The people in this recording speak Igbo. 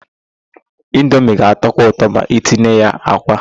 Indomie ga-atọkwu ụtọ ma itinye ya àkwá.